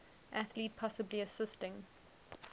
athlete possibly assisting